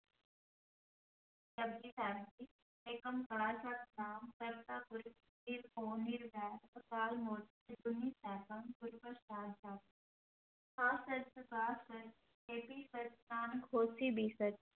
ਜਪੁਜੀ ਸਾਹਿਬ ਏਕੰਕਾਰ ਸਤਿਨਾਮੁ ਕਰਤਾ ਪੁਰਖੁ ਨਿਰਭਉ ਨਿਰਵੈਰੁ ਅਕਾਲ ਮੂਰਤਿ ਅਜੂਨੀ ਸੈਭੰ ਗੁਰ ਪ੍ਰਸਾਦਿ, ਜਪੁ, ਆਦਿ ਸਚੁ ਜੁਗਾਦਿ ਸਚੁ, ਹੈ ਭੀ ਸਚੁ ਨਾਨਕ ਹੋਸੀ ਭੀ ਸਚੁ।